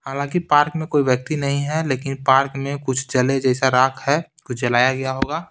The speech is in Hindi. हालांकि पार्क में कोई व्यक्ति नहीं है लेकिन पार्क में कुछ जले जैसा राख है कुछ जलाया गया होगा।